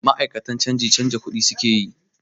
Ma'akatan canji canza kuɗi su ke yi.